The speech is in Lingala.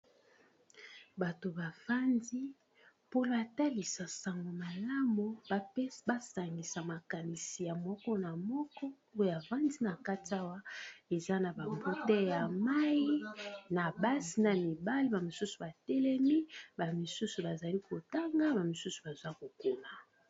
Bato bafandi mpola talisa sango malamu basangisa makanisi ya moko na moko oyo avandi na kati awa eza na ba bouteille ya mayi na basi na mibale ba mosusu batelemi ba misusu bazali kotanga ba mosusu baza kokoma.